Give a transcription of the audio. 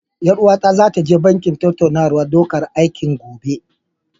Ƴar uwata zata je banki tattaunawar ɗaukan aiki, gobe.